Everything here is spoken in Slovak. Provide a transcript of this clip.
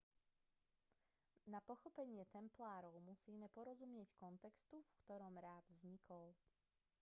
na pochopenie templárov musíme porozumieť kontextu v ktorom rád vznikol